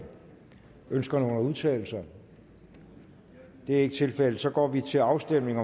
ønsker nogen at udtale sig det er ikke tilfældet så går vi til afstemning